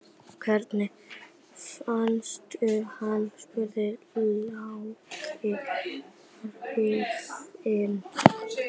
Hvernig fannstu hann? spurði Lalli hrifinn.